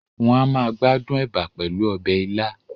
Wọ́n a máa gbádùn ẹ̀bà pẹ̀lú ọbẹ̀ ilá